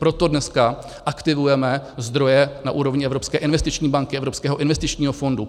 Proto dneska aktivujeme zdroje na úrovni Evropské investiční banky, Evropského investičního fondu.